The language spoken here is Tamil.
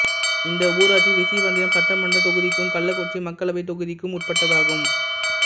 இந்த ஊராட்சி ரிஷிவந்தியம் சட்டமன்றத் தொகுதிக்கும் கள்ளக்குறிச்சி மக்களவைத் தொகுதிக்கும் உட்பட்டதாகும்